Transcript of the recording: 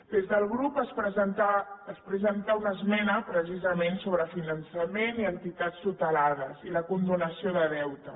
des del grup es presenta una esmena precisament sobre finançament i entitats tutelades i la condonació de deute